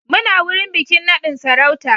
Muna wurin bikin nadin sarauta